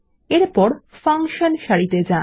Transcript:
এরপর ফাংশন সারিতে যান